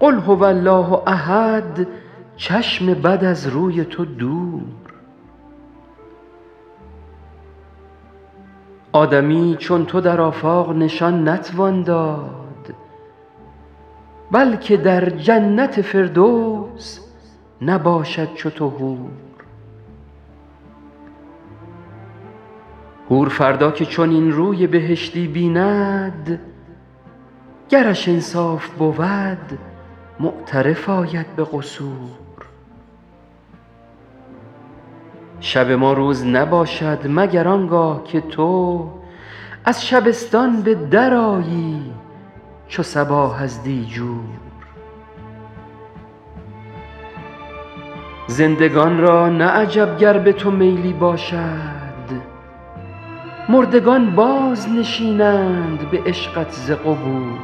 قل هو الله احد چشم بد از روی تو دور آدمی چون تو در آفاق نشان نتوان داد بلکه در جنت فردوس نباشد چو تو حور حور فردا که چنین روی بهشتی بیند گرش انصاف بود معترف آید به قصور شب ما روز نباشد مگر آن گاه که تو از شبستان به درآیی چو صباح از دیجور زندگان را نه عجب گر به تو میلی باشد مردگان بازنشینند به عشقت ز قبور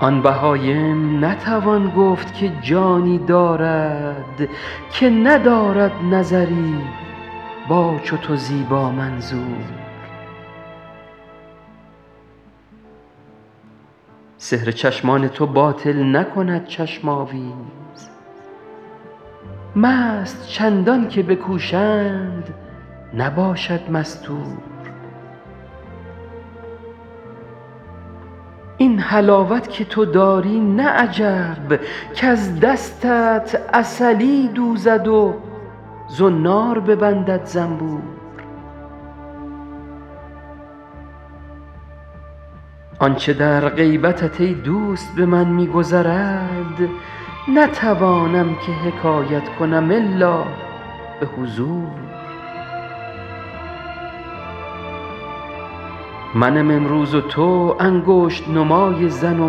آن بهایم نتوان گفت که جانی دارد که ندارد نظری با چو تو زیبامنظور سحر چشمان تو باطل نکند چشم آویز مست چندان که بکوشند نباشد مستور این حلاوت که تو داری نه عجب کز دستت عسلی دوزد و زنار ببندد زنبور آن چه در غیبتت ای دوست به من می گذرد نتوانم که حکایت کنم الا به حضور منم امروز و تو انگشت نمای زن و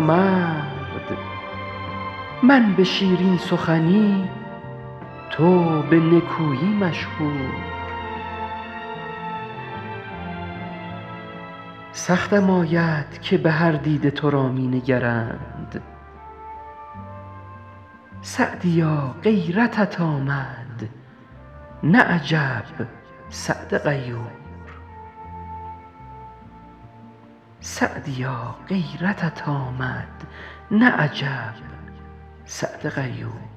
مرد من به شیرین سخنی تو به نکویی مشهور سختم آید که به هر دیده تو را می نگرند سعدیا غیرتت آمد نه عجب سعد غیور